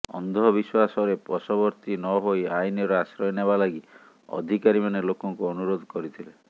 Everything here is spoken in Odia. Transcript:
ଅନ୍ଧବିଶ୍ୱାସରେ ବଶବର୍ତ୍ତୀ ନ ହୋଇ ଆଇନର ଆଶ୍ରୟ ନେବା ଲାଗି ଅଧିକାରୀମାନ ଲୋକଙ୍କୁ ଅନୁରୋଧ କରିଥିଲେ